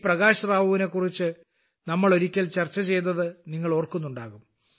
പ്രകാശ് റാവുവിനെ കുറിച്ച് നമ്മൾ ഒരിക്കൽ ചർച്ച ചെയ്തത് നിങ്ങൾ ഓർക്കുന്നുണ്ടാകും